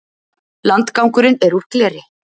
Landgangurinn er úr gleri.